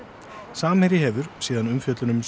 samherji hefur síðan umfjöllun um